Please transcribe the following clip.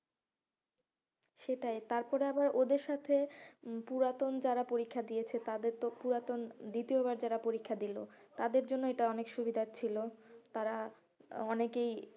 সেটাই তারপরে আবার ওদের সাথে উম পুরাতন যারা পরীক্ষা দিয়েছে তাদের তো পুরাতন দ্বিতীয় বার যারা পরীক্ষা দিলো তাদের জন্য এটা অনেক সুবিধার ছিল তারা অনেকেই,